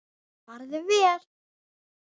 Farðu vel.